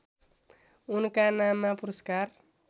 उनका नाममा पुरस्कार